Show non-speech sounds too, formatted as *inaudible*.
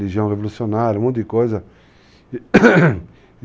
Legião Revolucionária, um monte de coisa. *coughs*